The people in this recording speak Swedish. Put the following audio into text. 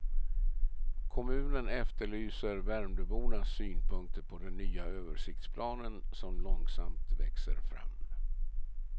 Kommunen efterlyser värmdöbornas synpunkter på den nya översiktsplanen som långsamt växer fram.